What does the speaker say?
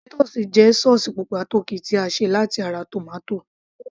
ketchup jẹ́ sauce pupa tó ki tí a ṣe láti ara tomato